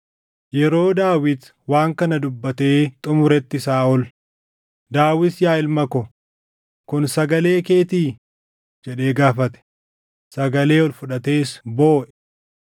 Yeroo Daawit waan kana dubbatee xumuretti Saaʼol, “Daawit yaa ilma ko, kun sagalee keetii?” jedhee gaafate; sagalee ol fudhatees booʼe.